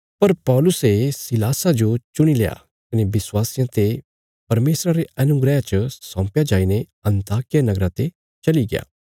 पर पौलुसे सीलासा जो चुणी लया कने विश्वासियां ते परमेशरा रे अनुग्रह च सौंपया जाईने अन्ताकिया नगरा ते चली गया